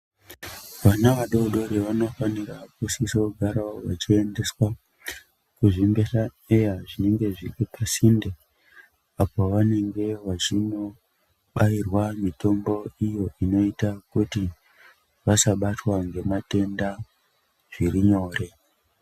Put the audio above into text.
Vana vadodori vanofanirawo vechiendaswa kumbehla eya zvinenge zviri pasinde apo pavange vachindobairwa mitombo iyo inoita kuti vasabatwa ngematenda zviri nyore